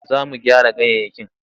Za mu gyara ganyayyaki.